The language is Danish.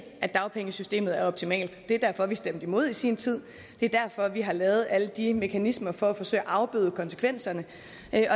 at dagpengesystemet er optimalt det er derfor at vi stemte imod i sin tid det er derfor vi har lavet alle de mekanismer for at forsøge at afbøde konsekvenserne